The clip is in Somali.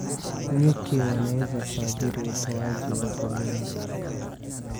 Nyuki wanaweza kuathiri utoaji wa poleni.